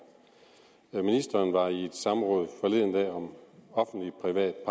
ministeren var forleden dag i et samråd om offentlig private